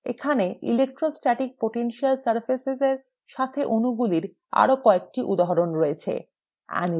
এখানে electrostatic potential surfaces এর সাথে অণুগুলির আরো কয়েকটি উদাহরণ রয়েছে